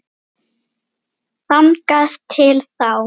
Þangað til þá.